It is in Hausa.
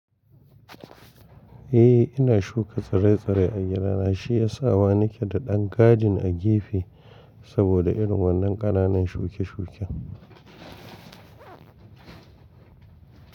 Eh ina shuka tsirai-tsirai a gidana, shi ya sa ba nake da ɗan gadin a gefe saboda irin wannan ƙananan shuke-shuke.